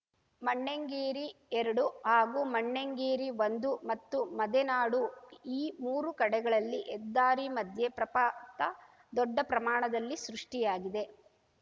ಮಣ್ಣೆಂಗೇರಿಎರಡು ಹಾಗೂ ಮಣ್ಣೆಂಗೇರಿಒಂದು ಮತ್ತು ಮದೆನಾಡು ಈ ಮೂರು ಕಡೆಗಳಲ್ಲಿ ಹೆದ್ದಾರಿ ಮಧ್ಯೆ ಪ್ರಪಾತ ದೊಡ್ಡ ಪ್ರಮಾಣದಲ್ಲಿ ಸೃಷ್ಟಿಯಾಗಿದೆ